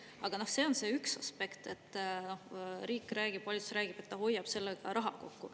Aga see on see üks aspekt, et riik räägib, valitsus räägib, et ta hoiab sellega raha kokku.